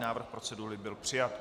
Návrh procedury byl přijat.